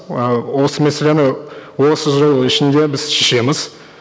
ы осы мәселені осы жыл ішінде біз шешеміз